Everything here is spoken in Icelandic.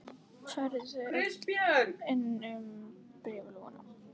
Færðu þau öll inn um bréfalúguna?